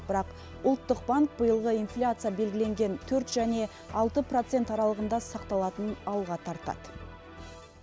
бірақ ұлттық банк биылғы инфляция белгіленген төрт және алты процент аралығында сақталатынын алға тартады